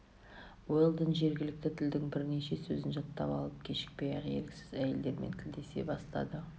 уэлдон жергілікті тілдің бірнеше сөзін жаттап алып кешікпей-ақ еріксіз әйелдермен тілдесе бастады